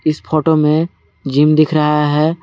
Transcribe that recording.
इस फोटो में जिम दिख रहा है।